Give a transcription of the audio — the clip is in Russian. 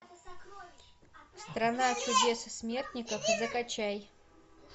страна чудес и смертников закачай